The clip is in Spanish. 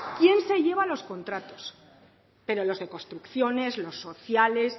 quién se lleva los contratos pero los de construcciones los sociales